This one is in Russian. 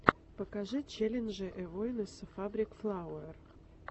покажи челленджи эйвонесса фабрик флауэр